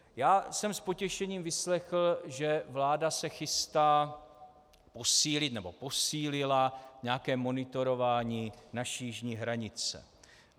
Já jsem s potěšením vyslechl, že vláda se chystá posílit nebo posílila nějaké monitorování naší jižní hranice.